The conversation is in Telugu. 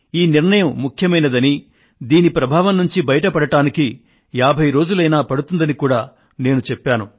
ఈ నిర్ణయం ముఖ్యమైందని దీని ప్రభావం నుండి బయటపడడానికి 50 రోజులైనా పడుతుందని కూడా నేను చెప్పాను